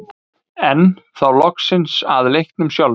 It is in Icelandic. Enn þá loksins að leiknum sjálfum.